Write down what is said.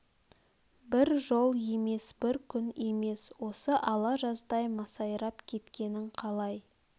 бір жол емес бір күн емес осы ала жаздай масайрап кеткенің қалай